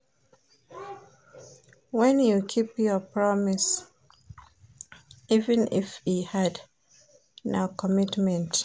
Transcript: Wen you keep your promise, even if e hard, na commitment.